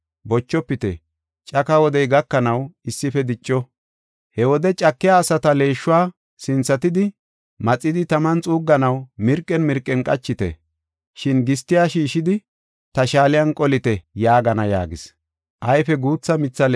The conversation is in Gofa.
Bochofite; caka wodey gakanaw issife dicco. He wode cakiya asata leeshuwa sinthatidi maxidi taman xuugganaw mirqen mirqen qachite. Shin gistiya shiishidi ta shaaliyan qolite’ yaagana” yaagis.